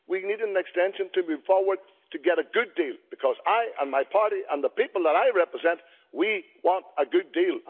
We need an extension to move forward and get a good deal I personally and my party and the people that I represent, we want a good deal.